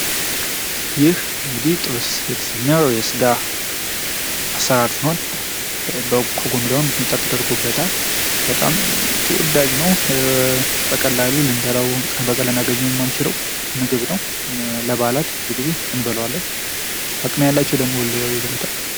ይህ ጥብስ የተሰኘው የስጋ አሰራር ሲሆን ከጎኑ ደግሞ ሚጥሚጣ ተደርጎበታል በጣም ተወዳጅ ነው በቀላሉ ልናገኘው የማንችለው ምግብ ነው ለበዓላት ብዙ ጊዜ እንበላዋለን አቅም ያላቸው ደግሞ ሁልጊዜ ይበሉታል።